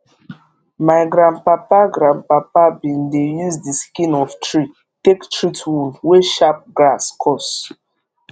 my grandpapa grandpapa bin dey use d skin of tree take treat wound wey sharp grass cause